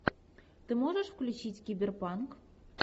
ты можешь включить киберпанк